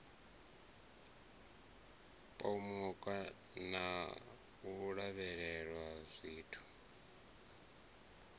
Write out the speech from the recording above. pomoka na u lavhelela zwithu